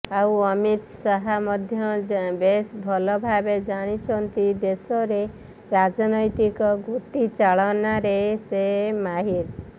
ଆଉ ଅମିତ ଶାହ ମଧ୍ୟ ବେଶ ଭଲଭାବେ ଜାଣିଛନ୍ତି ଦେଶରେ ରାଜନୈତିକ ଗୋଟିଚାଳନାରେ ସେ ମାହିର